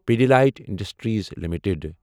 Pidilite industries limited